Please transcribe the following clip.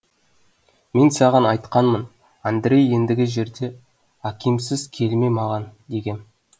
мен саған айтқанмын андрей ендігі жерде акимсыз келме маған дегем